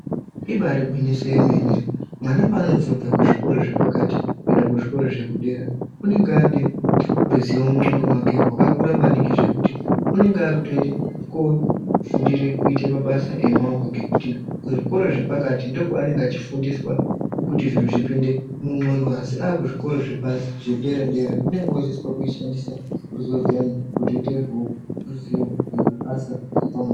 Ibaari gwinyiso remene, mwana paanozobva pazvikora zvepakati kuende kuzvikora zvekudera unonga aane ruzivo munxondo mwake rwakakura maningi zvekuti unonga akutoende koofundire kuite mabasa amaoko ngekuti kuzvikora zvepakati ndokwaanenge echifundiswa kuti zviro zvipinde munxondo, asi aakuzvikora zvedera-dera unenge oodzidziswa kushandise ruzivo rwuyani kuti ruite ruzivo rwemabasa epamaoko.